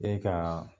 E ka